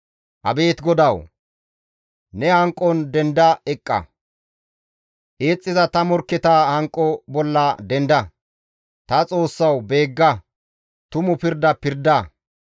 Abeet GODAWU! Ne hanqon denda eqqa; eexxiza ta morkketa hanqo bolla denda; ta Xoossawu beegga; tumu pirda pirda.